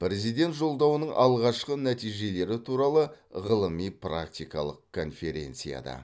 президент жолдауының алғашқы нәтижелері туралы ғылыми практикалық конференцияда